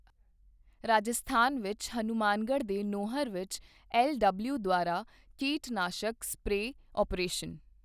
ਰਾਜਸਥਾਨ ਵਿੱਚ ਹਨੁਮਾਨਗੜ੍ਹ ਦੇ ਨੌਹਰ ਵਿੱਚ ਐੱਲਡਬਲਿਯਓੂ ਦੁਆਰਾ ਕੀਟਨਾਸ਼ਕ ਸਪਰੇਅ ਅਪਰੇਸ਼ਨ